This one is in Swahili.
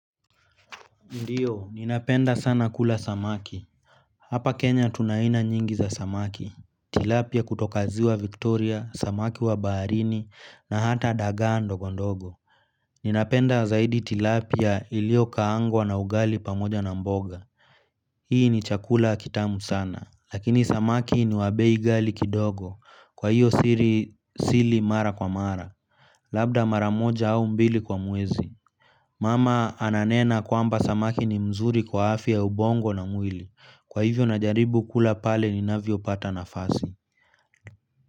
Ndiyo, ninapenda sana kula samaki. Hapa Kenya tun aina nyingi za samaki tilapia kutoka ziwa Victoria, samaki wa baharini na hata dagaa ndogo ndogo ninapenda zaidi tilapia iliyokaangwa na ugali pamoja na mboga hii ni chakula kitamu sana lakini samaki ni wa bei gali kidogo kwa hiyo sili mara kwa mara labda mara moja au mbili kwa mwezi mama ananena kwamba samaki ni mzuri kwa afya ya ubongo na mwili kwa hivyo najaribu kula pale ninavyo pata nafasi.